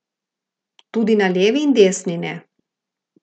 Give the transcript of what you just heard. Tudi na levi in desni ne.